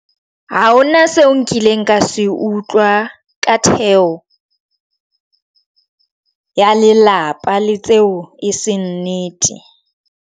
Ha hona seo nkileng ka se utlwa ka theo ya lelapa le tseo e seng nnete.